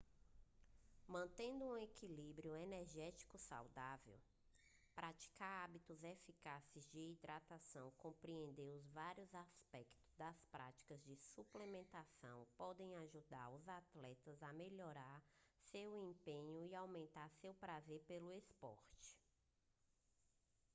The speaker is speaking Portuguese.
mantendo um equilíbrio energético saudável praticar hábitos eficazes de hidratação e compreender os vários aspectos das práticas de suplementação podem ajudar os atletas a melhorar seu desempenho e a aumentar seu prazer pelo esporte